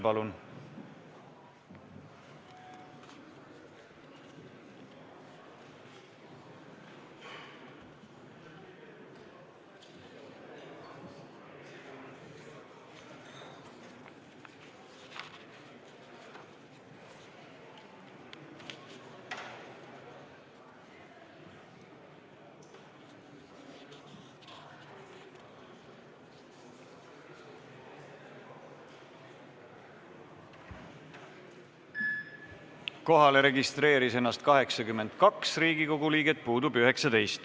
Kohaloleku kontroll Kohalolijaks registreeris ennast 82 Riigikogu liiget, puudub 19.